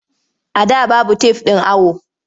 A da babu tef ɗin awo.